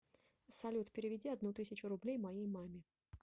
салют переведи одну тысячу рублей моей маме